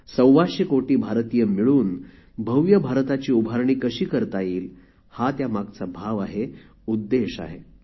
सव्वाशे कोटी भारतीय मिळून भव्य भारताची उभारणी कशी करता येईल हा त्या मागचा भाव आहे उद्देश आहे